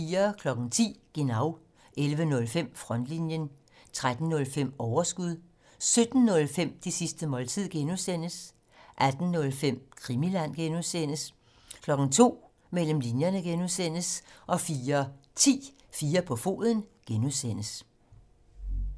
10:05: Genau 11:05: Frontlinjen 13:05: Overskud 17:05: Det sidste måltid (G) 18:05: Krimiland (G) 02:00: Mellem linjerne (G) 04:10: 4 på foden (G)